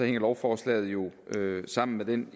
lovforslaget jo sammen med den